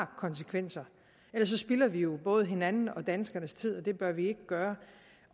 konsekvenser ellers spilder vi jo både hinandens og danskernes tid og det bør vi ikke gøre